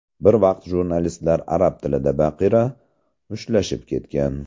Bir vaqt jurnalistlar arab tilida baqira, mushtlashib ketgan.